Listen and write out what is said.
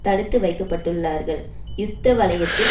தடுத்து வைக்க பட்டுள்ளார்கள் யுத்த வலயத்தில்